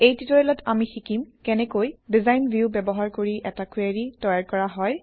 এই ট্যুটৰিয়েলত আমি শিকিম কেনেকৈ ডিজাইন ভিউ ব্যৱহাৰ কৰি এটা কুৱেৰি তৈয়াৰ কৰা হয়